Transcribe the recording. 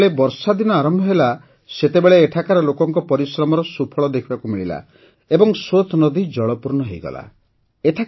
ଯେତେବେଳେ ବର୍ଷାଦିନ ଆରମ୍ଭ ହେଲା ସେତେବେଳେ ଏଠାକାର ଲୋକଙ୍କ ପରିଶ୍ରମର ସୁଫଳ ଦେଖିବାକୁ ମିଳିଲା ଓ ସୋତ୍ ନଦୀ ଜଳପୂର୍ଣ୍ଣ ହୋଇଗଲା